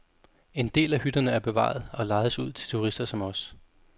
En del af hytterne er bevaret og lejes ud til turister som os.